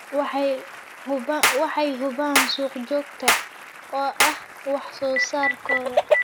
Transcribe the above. Waxay hubaan suuq joogto ah oo wax soo saarkooda.